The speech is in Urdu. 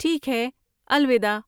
ٹھیک ہے، الوداع۔